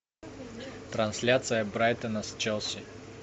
трансляция брайтона с челси